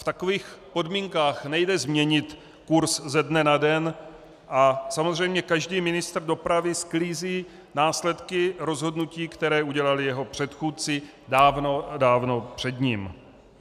V takových podmínkách nejde změnit kurz ze dne na den a samozřejmě každý ministr dopravy sklízí následky rozhodnutí, které udělali jeho předchůdci dávno a dávno před ním.